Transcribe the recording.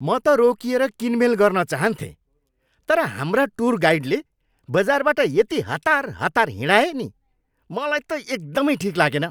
म त रोकिएर किनमेल गर्न चाहन्थेँ तर हाम्रा टुर गाइडले बजारबाट यति हतार हतार हिँडाए नि मलाई त एकदमै ठिक लागेन।